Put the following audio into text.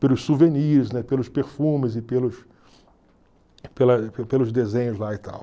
Pelos souvenirs, né, pelos perfumes e pelos pelos desenhos lá e tal.